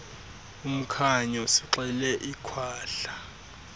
umkhanyo sixele ikhwahla